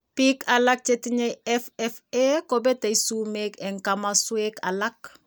Biik alak chetinye FFA kobete sumek en kamasuek alak